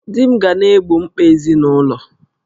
Di m ga na-egbo mkpa ezinụlọ